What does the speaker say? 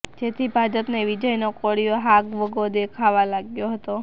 જેથી ભાજપને વિજયનો કોળીયો હાગ વગો દેખાવા લાગ્યો હતો